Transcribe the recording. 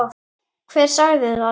Hver sagði það?